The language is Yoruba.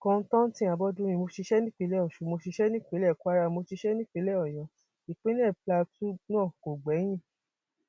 kọńtántí abọdúnrin mo ṣiṣẹ nípìnlẹ ọsún mo ṣiṣẹ nípìnlẹ kwara mo ṣiṣẹ nípìnlẹ ọyọ ìpínlẹ plateau náà kò gbẹyìn